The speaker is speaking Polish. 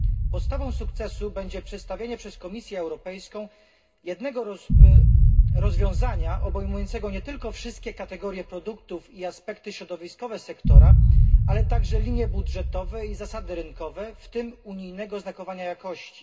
Podstawą sukcesu będzie przedstawienie przez Komisję Europejską jednego rozwiązania obejmującego nie tylko wszystkie kategorie produktów i aspekty środowiskowe sektora, ale także linie budżetowe i zasady rynkowe, w tym unijnego znakowania jakości.